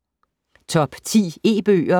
Top 10 E-bøger